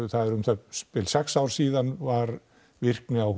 það er um það bil sex ár síðan var virkni á